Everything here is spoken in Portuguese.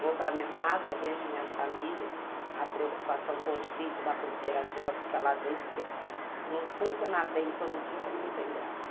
Vou para minha casa, vejo minha família, a preocupação, o conflito da cooperativa fica lá dentro, porque se não funcionar bem todo dia também não tem graça.